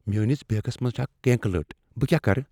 میٲنس بیگس منٛز چھےٚ اکھ کرٛینٛکہٕ لٔٹ, بہٕ کیا کرٕ؟